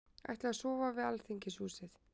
Ætla að sofa við Alþingishúsið